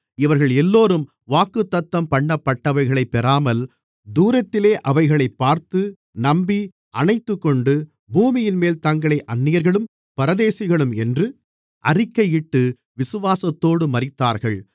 இவர்கள் எல்லோரும் வாக்குத்தத்தம்பண்ணப்பட்டவைகளைப் பெறாமல் தூரத்திலே அவைகளைப் பார்த்து நம்பி அணைத்துக்கொண்டு பூமியின்மேல் தங்களை அந்நியர்களும் பரதேசிகளும் என்று அறிக்கையிட்டு விசுவாசத்தோடு மரித்தார்கள்